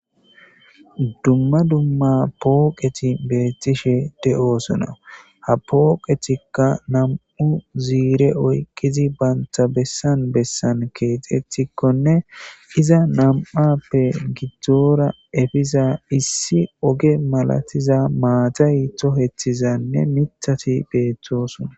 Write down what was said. dumma dumma pooqeti beettishe de7oosona ha pooqetikka nam7u ziire oyqqizi banta bessan bessan keexetikkonne iza nam7appe gidzdzora efiza issi oge malatiza maatayto hethizanne mithati beeththosona